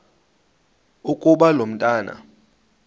ukuba lo mntwana